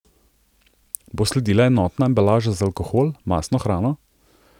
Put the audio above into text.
Bo sledila enotna embalaža za alkohol, mastno hrano?